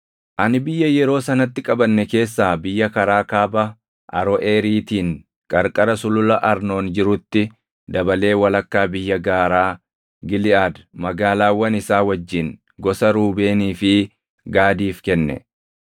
Ani biyya yeroo sanatti qabanne keessaa biyya karaa Kaaba Aroʼeeriitiin qarqara Sulula Arnoon jirutti dabalee walakkaa biyya gaaraa Giliʼaad magaalaawwan isaa wajjin gosa Ruubeenii fi Gaadiif kenne.